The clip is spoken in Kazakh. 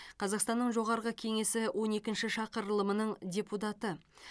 қазақстанның жоғарғы кеңесі он екінші шақырылымының депутаты